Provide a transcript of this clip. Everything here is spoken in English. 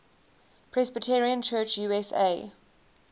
presbyterian church usa